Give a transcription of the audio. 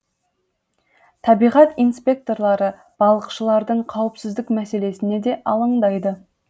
табиғат инспекторлары балықшылардың қауіпсіздік мәселесіне де алаңдайды